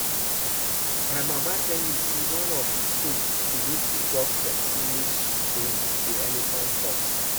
My mama tell me say one of the things the native doctor say make she bring be elephant tusk